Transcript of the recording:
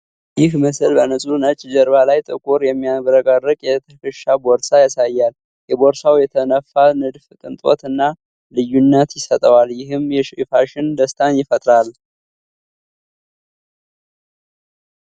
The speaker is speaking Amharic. ይህ ምስል በንጹህ ነጭ ጀርባ ላይ ጥቁር፣ የሚያብረቀርቅ የ ትከሻ ቦርሳ ያሳያል። የቦርሳው የተነፋ ንድፍ ቅንጦት እና ልዩነት ይሰጠዋል፤ ይህም የፋሽን ደስታን ይፈጥራል።